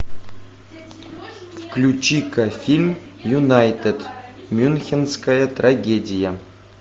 включи ка фильм юнайтед мюнхенская трагедия